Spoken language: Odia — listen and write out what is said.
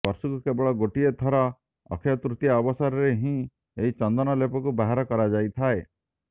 ବର୍ଷକୁ କେବଳ ଗୋଟିଏ ଥର ଅକ୍ଷୟ ତୃତୀୟା ଅବସରରେ ହିଁ ଏହି ଚନ୍ଦନ ଲେପକୁ ବାହାର କରାଯାଇଥାଏ